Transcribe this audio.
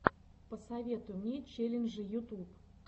посоветуй мне челленджи ютуб